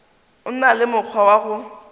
na le mokgwa wa go